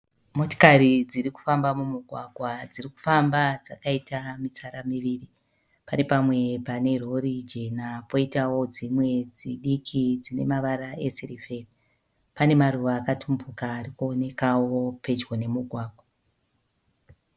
Motikari dziri kufamba mumugwagwa dziri kufamba dzakaita mitsara miviri. Pane pamwe pane rori jena poitawo dzimwe dzidiki dzine mavara esirivheri. Pane maruva akatumbuka ari kuonekawo pedyo nemugwagwa.